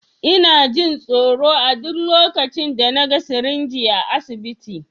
Ina jin tsoro a duk lokacin da na ga sirinji a asibiti.